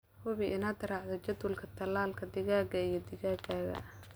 Hubi inaad raacdo jadwalka tallaalka digaagga iyo digaagga.